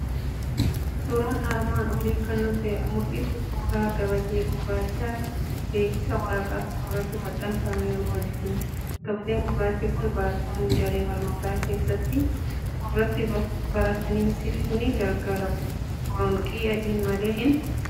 Suuraan armaan olii kan nutti mul'isu suuraa gabatee gurraacha beeksisa waraqaa tokko irratti maxxanfameeru wajjinidha. Gabateen gurraachi kun barattoonni daree barnootaa keessatti irratti barataniifis ni gargaara. Boronqii adiin malee hin argamu.